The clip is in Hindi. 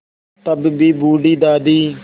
तब भी बूढ़ी दादी